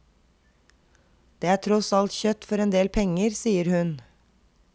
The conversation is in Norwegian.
Det er tross alt kjøtt for en del penger, sier hun.